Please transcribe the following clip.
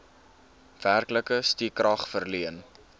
werklike stukrag verleen